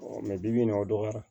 bi bi in na o dɔgɔya